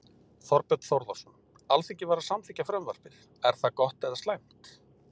Þorbjörn Þórðarson: Alþingi var að samþykkja frumvarpið, er það gott eða slæmt?